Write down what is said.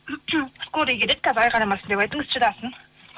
скорый келеді қазір айқайламасын деп айтыңыз шыдасын